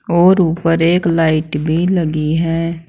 और ऊपर एक लाइट भी लगी है।